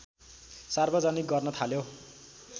सार्वजनिक गर्न थाल्यो